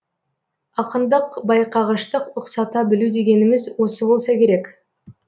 ақындық байқағыштық ұқсата білу дегеніміз осы болса керек